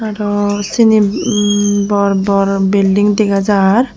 aro cini bor bor building degajar.